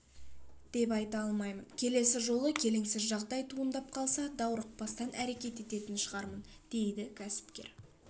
деп айта аламын келесі жолы келеңсіз жағдай туындап қалса даурықпастан әрекет ететін шығармын дейді кәсіпкер